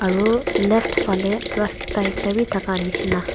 aro left phale rasta ekta wi thaka nishina.